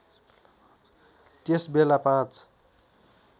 त्यस बेला ५